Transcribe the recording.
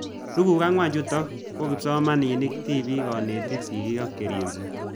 Tuguk ang'wan chutok ko kipsomanik, tipik, kanetik, sigik ak che ripse